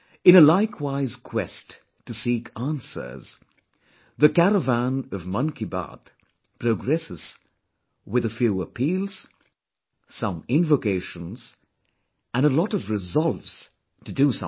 In a likewise quest to seek answers, the caravan of Mann Ki Baat progresses with a few appeals, some invocations and a lot of resolves to do something